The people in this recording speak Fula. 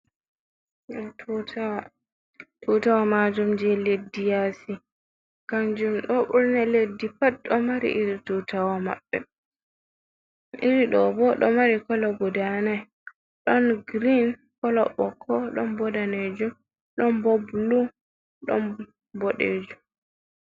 Ɗo tutawol. Tutawal majum je leɗɗi yasi. Kanjum ɗo burna leɗɗi pat ɗo mari iri tutawol mabbe. Iri ɗo bo ɗo mari kala guɗa nai. Ɗon girin, kolo boko, ɗon bo nɗanejum, ɗon bo bulu, ɗon boɗejum.